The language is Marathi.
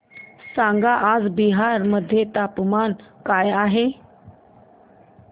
सांगा आज बिहार मध्ये तापमान काय आहे